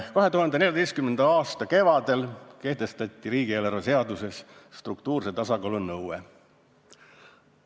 2014. aasta kevadel kehtestati riigieelarve seaduses struktuurse tasakaalu nõue.